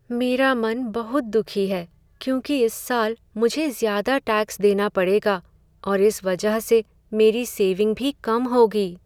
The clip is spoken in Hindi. मेरा मन बहुत दुखी है, क्योंकि इस साल मुझे ज़्यादा टैक्स देना पड़ेगा और इस वजह से मेरी सेविंग भी कम होगी।